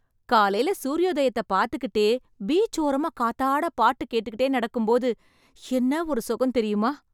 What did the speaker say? காலைல சூர்யோதயத்தை பாத்துகிட்டே, பீச் ஓரமா காத்தாட பாட்டு கேட்டுக்கிட்டே நடக்கும்போது, என்ன ஒரு சுகம் தெரியுமா...